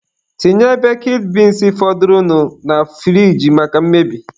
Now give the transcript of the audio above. Tinye bekid beans fọdụrụnụ na furige maka mmebi.